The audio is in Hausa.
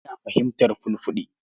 Ina fahimtar Fulfulde.